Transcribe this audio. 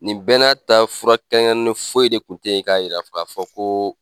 Nin bɛɛ n'a ta fura kɛɲani foyi de kun tɛ yi k'a yira ka fɔ ko